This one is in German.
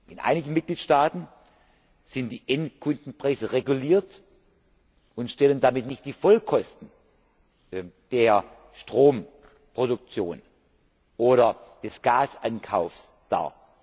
sind. In einigen Mitgliedstaaten sind die Endkundenpreise reguliert und stellen damit nicht die Vollkosten der Stromproduktion oder des Gasankaufs